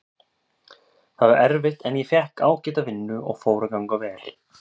Það var erfitt en ég fékk ágæta vinnu og fór að ganga vel.